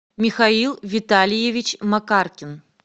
михаил витальевич макаркин